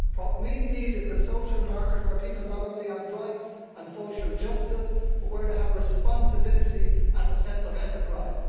What we need is a social market where people not only have rights and social justice but where they have responsibility and a sense of enterprise.